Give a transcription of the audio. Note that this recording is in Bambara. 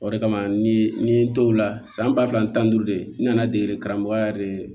O de kama ni ye n dɔw la san ba fila ni tan ni duuru de nana dege karamɔgɔ yɛrɛ de